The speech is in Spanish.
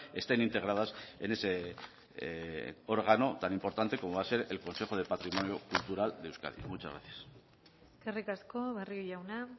estén integradas en ese órgano tan importante como va a ser el consejo de patrimonio cultural de euskadi muchas gracias eskerrik asko barrio jauna